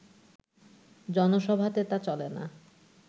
জনসভাতে তা চলে না